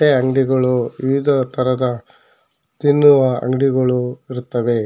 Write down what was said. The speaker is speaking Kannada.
ಅಂಗಡಿಗಳು ವಿವಿಧ ತರಹದ ತಿನ್ನುವ ಅಂಗಡಿಗಳು ಇರುತ್ತವೆ.